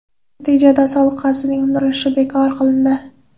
Natijada soliq qarzining undirilishi bekor qilindi.